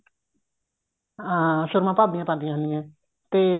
ਹਾਂ ਸੂਰਮਾ ਭਾਬੀਆਂ ਪਾਉਂਦੀਆਂ ਹੁੰਦੀਆਂ ਤੇ